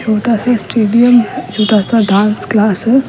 छोटा सा स्टेडियम छोटा सा डांस क्लास है।